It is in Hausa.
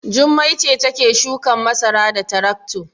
Jummai ce take shukan masara da tarakto.